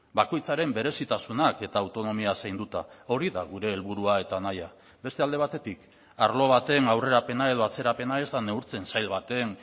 bakoitzaren berezitasunak eta autonomia zainduta hori da gure helburua eta nahia beste alde batetik arlo baten aurrerapena edo atzerapena ez da neurtzen sail baten